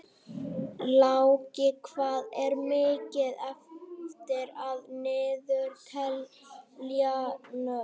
Láki, hvað er mikið eftir af niðurteljaranum?